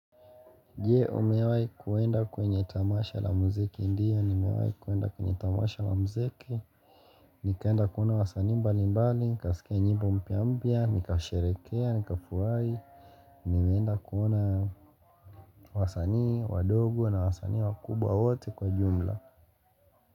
Je, umewai kuenda kwenye tamasha la muziki ndio, nimewai kuenda kwenye tamasha la muziki Nikaenda kuona wasanii mbali mbali, nikaskia nyimbo mpya mpya, nikasherekea, nikafurahi nimeenda kuona wasani, wadogo na wasani wakubwa wote kwa jumla.